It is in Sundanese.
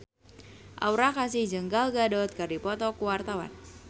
Aura Kasih jeung Gal Gadot keur dipoto ku wartawan